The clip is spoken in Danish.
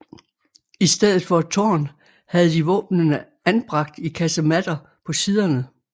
I stedet for et tårn havde de våbnene anbragt i kasematter på siderne